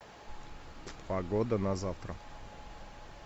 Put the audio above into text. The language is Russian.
погода на завтра